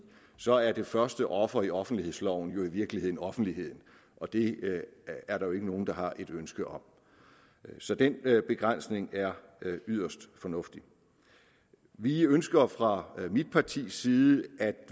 så er det første offer i offentlighedsloven jo i virkeligheden offentligheden og det er der jo ikke nogen der har et ønske om så den begrænsning er yderst fornuftig vi ønsker fra mit partis side at